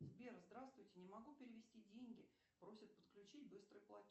сбер здравствуйте не могу перевести деньги просит подключить быстрый платеж